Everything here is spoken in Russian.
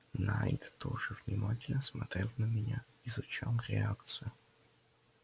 найд тоже внимательно смотрел на меня изучал реакцию